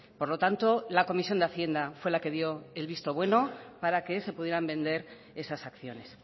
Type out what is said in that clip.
por lo tanto la comisión de hacienda fue la que dio el visto bueno para que se pudieran vender esas acciones